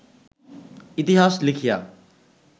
ইতিহাস লিখিয়া